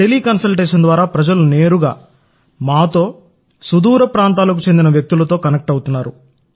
tele consultation ద్వారా ప్రజలు నేరుగా మాతో సుదూర ప్రాంతాలకు చెందిన వ్యక్తులతో కనెక్ట్ అవుతారు